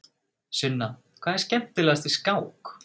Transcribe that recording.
Sunna: Hvað er skemmtilegast við skák?